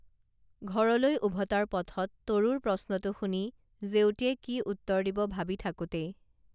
ঘৰলৈ উভতাৰ পথত তৰুৰ প্ৰশ্নটো শুনি জেউতীয়ে কি উত্তৰ দিব ভাৱি থাকোঁতেই